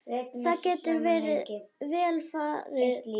Það getur vel farið svo.